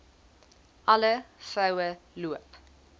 alle vroue loop